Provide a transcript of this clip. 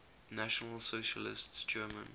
national socialist german